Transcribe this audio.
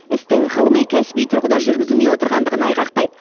істің ғылыми кәсіби тұрғыда жүргізілмей отырғандығын айғақтайды